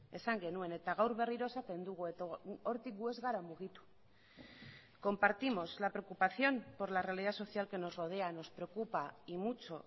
esan genuen eta gaur berriro esaten dugu eta hortik gu ez gara mugitu compartimos la preocupación por la realidad social que nos rodea nos preocupa y mucho